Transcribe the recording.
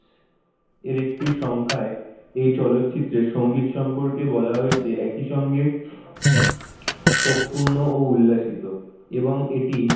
এর একটি সংখ্যায় এই চলচ্চিত্রের সঙ্গীত সম্পর্কে বলা হয়েছে একইসঙ্গে শোক পূর্ণ ও উল্লাসিত এবং এটি,